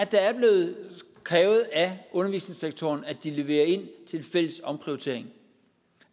der er blevet krævet af undervisningssektoren at de leverer ind til en fælles omprioritering